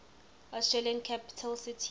australian capital cities